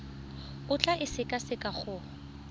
o tla e sekaseka go